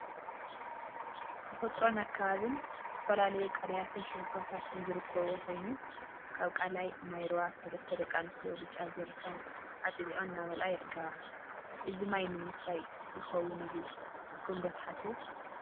ተፈጥሮን አከባቢን ተፈጥሮን አከባቢን ዝተፈላለዩ ቃላያትን ሽንጥሮታተን ዝርከብዎ ኮይኑ፤ ካብ ቃላይ ማይ ሩባ ሰለስተ ደቂ አንስትዮ ብጫ ጀሪካን አጥሊቀን እናመልአ ይርከባ፡፡ እዚ ማይ ንምስታይ ይኸውን እዩ ኢልኩም ዶ ትሓስቡ?